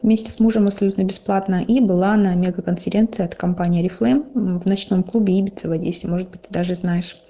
вместе с мужем абсолютно бесплатно и была на мега конференции от компании орифлейм в ночном клубе ибица в одессе может быть ты даже знаешь